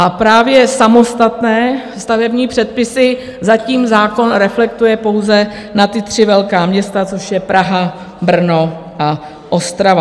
A právě samostatné stavební předpisy zatím zákon reflektuje pouze na ta tři velká města, což je Praha, Brno a Ostrava.